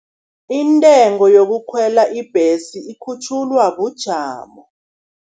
Intengo yokukhwela ibhesi ikhutjhulwa bujamo.